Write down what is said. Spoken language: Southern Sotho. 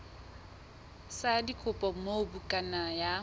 sa dikopo moo bukana ya